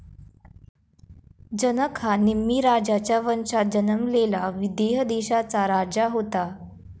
जनक हा निम्मी राजाचा वंशात जन्मलेला विदेह देशाचा राजा होता